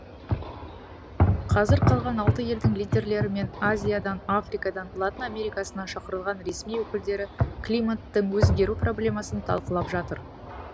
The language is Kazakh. қазір қалған алты елдің лидерлері мен азиядан африкадан латын америкасынан шақырылған ресми өкілдер климаттың өзгеру проблемасын талқылап жатыр